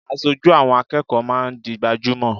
Aṣojú àwọn akẹ́kọ̀ọ́ máa ń di gbajúmò.